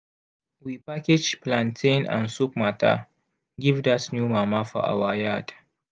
we package plantain and soup matter give dat new mama for our yard.